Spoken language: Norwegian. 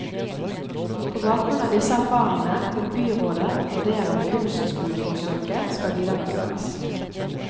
På bakgrunn av disse erfaringene vil byrådet vurdere om kunstskoleforsøket skal videreføres.